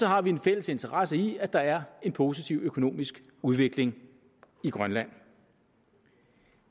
har vi en fælles interesse i at der er en positiv økonomisk udvikling i grønland